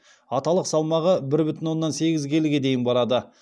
аталық салмағы бір бүтін оннан сегіз келіге дейін барады